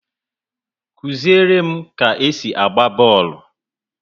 Kụziere m ka esi agba bọọlụ!